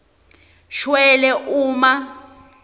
shwele uma